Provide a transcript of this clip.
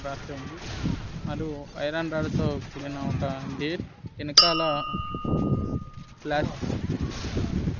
రాసి ఉంది వాళ్ళు ఐరన్ రాడ్డుతో కూడిన ఒక గేట్ ఎనకాల ప్లాస్ట్--